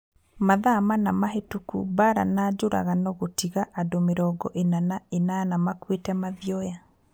Mathaa mana mahĩtũku Mbaara nĩ njũragano gũtiga andũ mĩrongo ina na inana makuĩte Mathioya